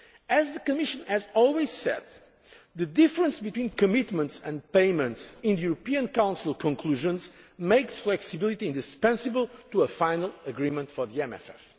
As the Commission has always said, the difference between commitments and payments in the European Council conclusions makes flexibility indispensable to a final agreement for